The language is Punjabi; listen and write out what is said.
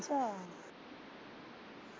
ਅੱਛਾ।